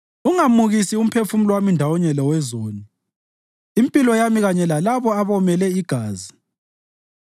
Ungamukisi umphefumulo wami ndawonye lowezoni, impilo yami kanye lalabo abomele igazi,